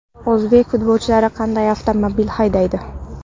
O‘zbek futbolchilari qanday avtomobil haydaydi?.